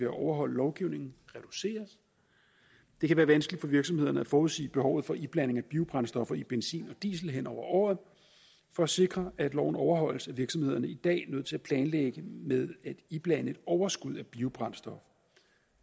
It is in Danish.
at overholde lovgivningen reduceres det kan være vanskeligt for virksomhederne at forudsige behovet for iblanding af biobrændstoffer i benzin og diesel hen over året for at sikre at loven overholdes er virksomhederne i dag nødt til at planlægge med at iblande et overskud af biobrændstof